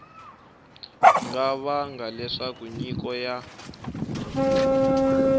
nga vanga leswaku nyiko ya